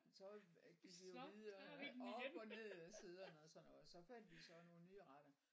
Så gik vi jo videre op og ned af siderne og sådan noget fandt vi jo så nogle nye retter